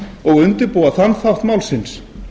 og undirbúa þann átt málsins